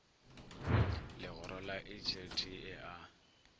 legoro la hlt e a